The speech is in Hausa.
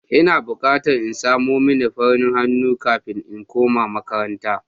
Ina bukatan in samo mini fanin hannu kafin in koma makaranta.